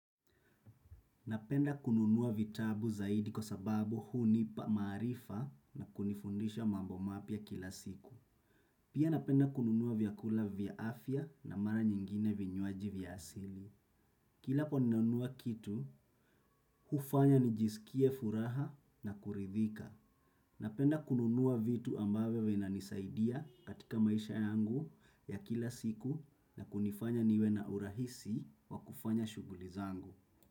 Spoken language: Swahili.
Napenda kununua vitabu zaidi kwa sababu hunipa maarifa na kunifundisha mambo mapya kila siku. Pia napenda kununua vyakula vya afya na mara nyingine vinywaji vya asili. Kila po ninanunua kitu, hufanya nijisikie furaha na kuridhika. Napenda kununua vitu ambavyo vinanisaidia katika maisha yangu ya kila siku na kunifanya niwe na urahisi wa kufanya shuguli zangu.